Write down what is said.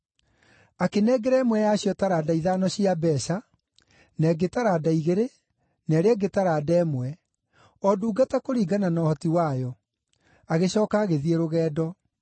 Akĩnengera ĩmwe yacio taranda ithano cia mbeeca, na ĩngĩ taranda igĩrĩ, na ĩrĩa ĩngĩ taranda ĩmwe, o ndungata kũringana na ũhoti wayo. Agĩcooka agĩthiĩ rũgendo.